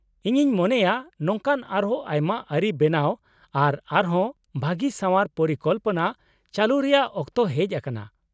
-ᱤᱧᱤᱧ ᱢᱚᱱᱮᱭᱟ , ᱱᱚᱝᱠᱟᱱ ᱟᱨᱦᱚᱸ ᱟᱭᱢᱟ ᱟᱹᱨᱤ ᱵᱮᱱᱟᱣ ᱟᱨ ᱟᱨᱦᱚᱸ ᱵᱷᱟᱹᱜᱤ ᱥᱟᱣᱟᱨ ᱯᱚᱨᱤᱠᱚᱞᱯᱚᱱᱟ ᱪᱟᱹᱞᱩ ᱨᱮᱭᱟᱜ ᱚᱠᱛᱚ ᱦᱮᱡ ᱟᱠᱟᱱᱟ ᱾